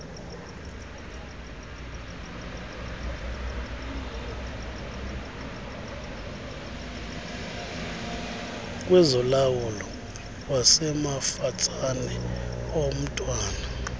kwezolawulo wasemafatsane omntwana